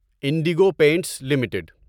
Indigo Paints limited